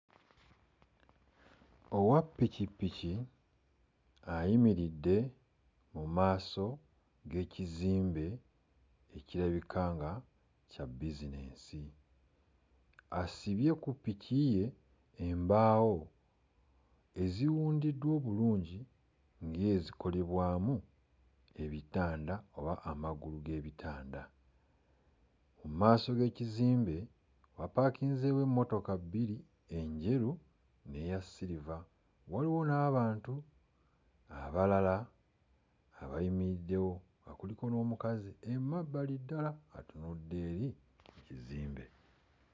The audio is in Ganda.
Owappikipiki ayimiridde mu maaso g'ekizimbe ekirabika nga kya bizinensi. Asibye ku ppiki ye embaawo eziwundiddwa obulungi ng'ezikolebwamu ebitanda oba amagulu g'ebitanda. Mu maaso g'ekizimbe wapaakinzeewo emmotoka bbiri, enjeru n'eya siriva; waliwo n'abantu abalala abayimiriddewo nga kuliko n'omukazi emabbali ddala atunudde eri ku kizimbe.